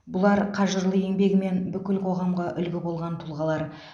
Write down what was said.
бұлар қажырлы еңбегімен бүкіл қоғамға үлгі болған тұлғалар